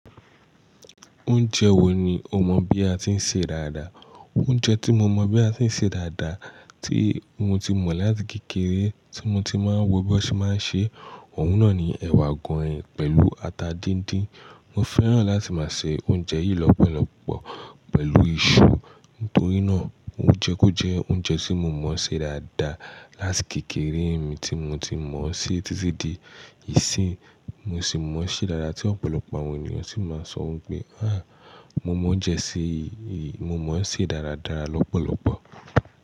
Oúnjẹ wo ni o mọ̀ bí a ti ń ṣe dáadáa? Oúnjẹ tí mo mọ̀ bí a ti ń ṣe dáadáa tí mo ti mọ̀ láti kékeré tí mo ti máa ń wo bí wọ́n ṣe máa ń ṣe, òun náà ni ẹ̀wà goin pẹ̀lú ata díndín. Mo fẹ́ràn láti máa se oúnjẹ yìí lọ́pọ̀lọpọ̀ pẹ̀lú iṣu, nítorí náà ó jẹ́ ó jẹ oúnjẹ tí mo mọ̀ ṣe dáadáa láti kékeré mi tí mo ti mọ̀ ọ́ sí títí di ìsín. Mo sì mọ̀ ọ́ ṣe dáadáa tí ọ̀pọ̀lọpọ̀ àwọn ènìyàn sì máa ń sọ wípé "áà mo mọ oúnjẹ yìí ṣe, mo mọ̀ ọ́ ṣe dáradára lọ́pọ̀lọpọ̀".